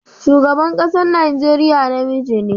Shugaban ƙasan Nigeriya namiji ne.